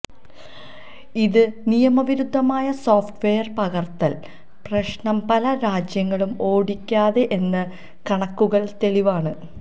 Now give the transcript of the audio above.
ഇത് നിയമവിരുദ്ധമായ സോഫ്റ്റ്വെയർ പകർത്തൽ പ്രശ്നം പല രാജ്യങ്ങളും ഓടിക്കാതെ എന്ന് കണക്കുകൾ തെളിവാണ്